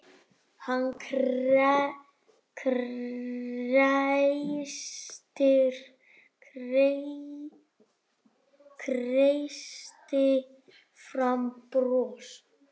Hann kreisti fram bros.